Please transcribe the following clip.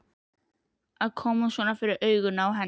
Að koma svona fyrir augun á henni.